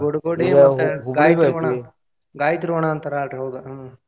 ಗೋಟ್ ಗೋಡೆ ಅಂತ ಹೇಳಿ ಗಾಯತ್ರಿ ವನ ಗಾಯತ್ರಿ ವನ ಅಂತಾರ ಅಲ್ರೀ ಹೌದ ಹ್ಮ್.